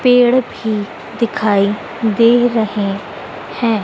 पेड़ भी दिखाई दे रहे हैं।